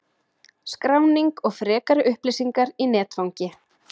Skráning og frekari upplýsingar í netfangi